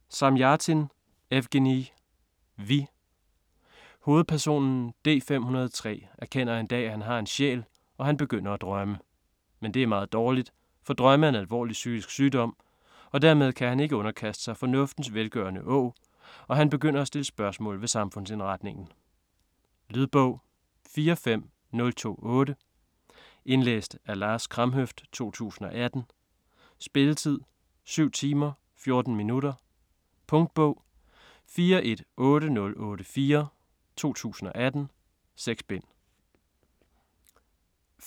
Zamjatin, Evgenij: Vi Hovedpersonen, D-503, erkender en dag, at han har en sjæl, og han begynder at drømme. Men det er meget dårligt, for "drømme er en alvorlig psykisk sygdom", for dermed kan han ikke underkaste sig "fornuftens velgørende åg", og han begynder at stille spørgsmål ved samfundsindretningen. Lydbog 45028 Indlæst af Lars Kramhøft, 2018. Spilletid: 7 timer, 14 minutter. Punktbog 418084 2018. 6 bind.